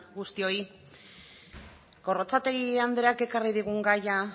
guztioi gorrotxategi andreak ekarri digun gaia